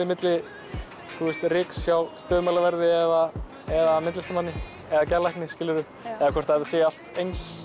milli ryks hjá stöðumælaverði eða eða myndlistarmanni eða geðlækni eða hvort þetta sé allt eins